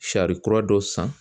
Sari kura dɔ san